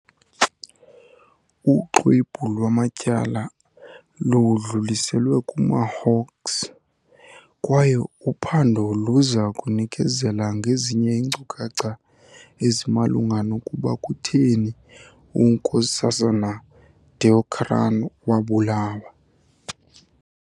Uxwebhu lwamatyala ludluliselwe kuma-Hawks, kwaye uphando luza kunikezela ngezinye iinkcukacha ezimalunga nokuba kutheni uNks Deokaran wabulawa.